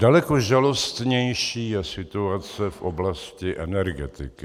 Daleko žalostnější je situace v oblasti energetiky.